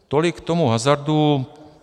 Tolik k tomu hazardu.